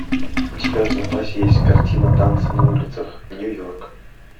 у тебя в запасе есть картина танцы на улицах нью йорк